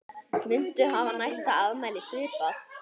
Muntu hafa næsta afmæli svipað?